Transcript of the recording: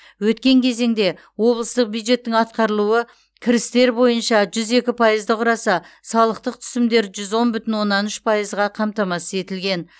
өткен кезеңде облыстық бюджеттің атқарылуы кірістер бойынша жүз екі пайызды құраса салықтық түсімдер жүз он бүтін оннан үш пайызға қамтамасыз етілген